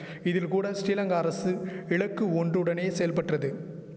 இதில் கூட ஸ்ரீலங்கா அரசு இலக்கு ஒன்றுடனே செயல்பற்றது